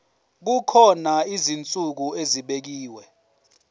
kukhona izinsuku ezibekiwe